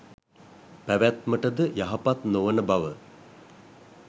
පැවැත්මට ද යහපත් නොවන බව